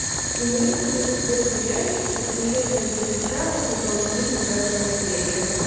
имеется ли у тебя сериальчик приключения джеки чана сезон три девятая серия